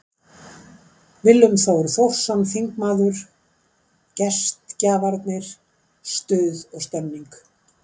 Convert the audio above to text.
Willum Þór Þórsson, þingmaður: Gestgjafarnir, stuð og stemning.